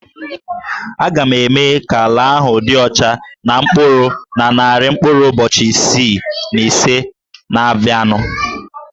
A ga-eme ka ala ahụ dị ọcha na mkpụrụ na narị mkpụrụ ụbọchị isii na ise na-abịanụ